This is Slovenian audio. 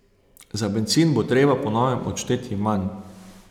Za bencin bo treba po novem odšteti manj.